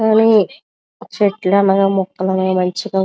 కానీ చెట్లు అనగ మొక్కలు మంచిగా --